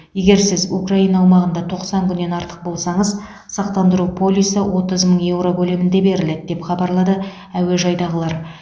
егер сіз украина аумағында тоқсан күннен артық болсаңыз сақтандыру полисі отыз мың еуро көлемінде беріледі деп хабарлады әуежайдағылар